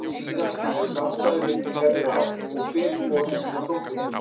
Síðan skiljast samstæðu litningarnir að og fer hvor í sína dótturfrumu.